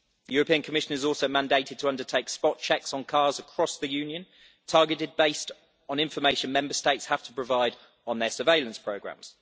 The European Commission is also mandated to undertake spot checks on cars across the Union, targeted based on information Member States have to provide on their surveillance programmes.